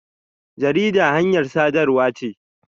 Jarida hanyar sadarwa ce.